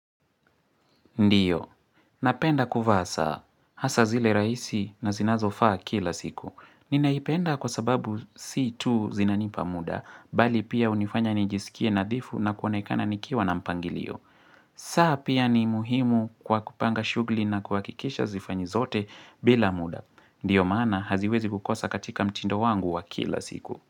Ndiyo. Napenda kuvaa saa Hasa zile raisi na zinazo faa kila siku. Ninaipenda kwa sababu si tu zinanipa muda, bali pia hunifanya nijisikie nadhifu na kuonekana nikiwa na mpangilio. Saa pia ni muhimu kwa kupanga shugli na kuhakikisha zifanywe zote bila muda. Ndiyo maana haziwezi kukosa katika mtindo wangu wa kila siku.